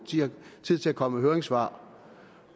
tid til at komme med høringssvar